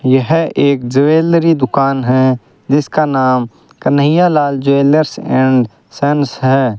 यह एक ज्वेलरी दुकान है जिसका नाम कन्हैयालाल ज्वेलर्स एंड संस है।